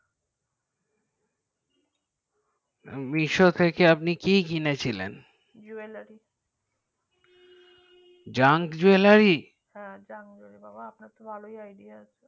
misho থেকে আপনি কি কিনেছিলেন jewelry junk jewellery junk jeweller হ্যাঁ junk jewellery বাবা আপনার তো ভালোই idea আছে